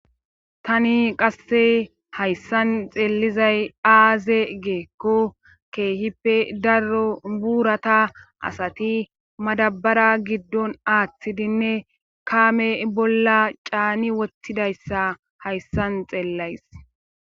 Tani qasse hayssan xeellizay aaze geekko keehippe daro buurata asati madabara giddon aaththidinne kaame bolla caani wottidayssa hayssan xeellays.